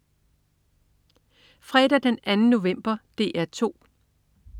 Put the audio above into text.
Fredag den 2. november - DR 2: